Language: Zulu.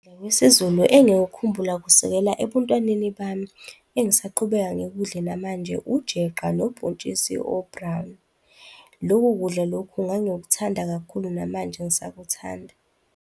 NgesiZulu, engikukhumbula kusukela ebuntwaneni bami engisaqhubeka ngikudle namanje ujeqa nobhontshisi o-brown-i. Loko kudla lokhu ngangikuthanda kakhulu, namanje ngisakuthanda.